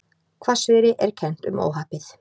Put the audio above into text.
Hvassviðri er kennt um óhappið